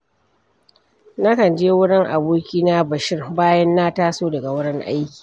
Nakan je wurin abokina Bashir, bayan na taso daga wurin aiki.